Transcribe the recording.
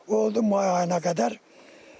Oldu may ayına qədər.